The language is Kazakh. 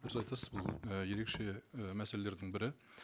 дұрыс айтасыз бұл і ерекше і мәселелердің бірі